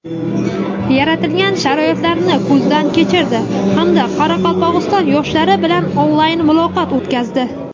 yaratilgan sharoitlarni ko‘zdan kechirdi hamda qoraqalpoq yoshlari bilan onlayn muloqot o‘tkazdi.